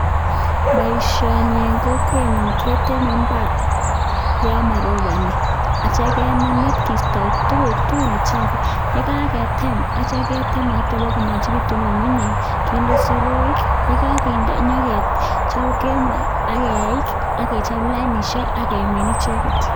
Baishoni en Kokwenyun keteme mbar yamaribani akeisto tuguk tugul Che chafu yegagetem agitya ke tem bakomengegitun ngungunyek kende soroik AK yikainde ketem AK yeik akechope lainishek age min mbekuk